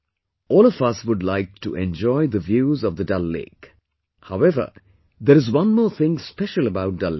All of us would like to enjoy the views of Dal Lake...However, there is one more thing special about Dal Lake